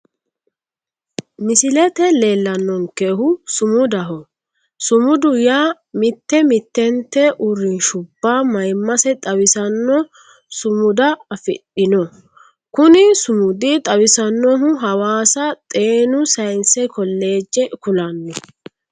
misilette leellanonkehu sumudaho sumudu yaa mitte mittentte uurinshubba mayimmase xawisanno sumuda afidhinno kuni sumudi xawisannohu hawaasa xeenu sayinse koleeje kulanno